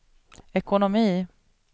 ekonomi